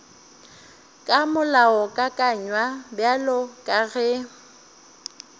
ka molaokakanywa bjalo ka ge